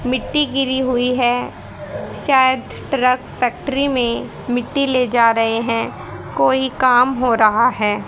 मिट्टी गिरी हुई है शायद ट्रक फैक्ट्री में मिट्टी ले जा रहे हैं कोई काम हो रहा है।